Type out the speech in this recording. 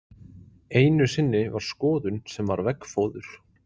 Einu sinni var skoðun sem var veggfóður.